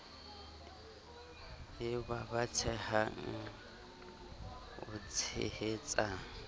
e ba batsehang o tshehetsa